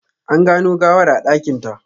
An gano gawar a dakinta.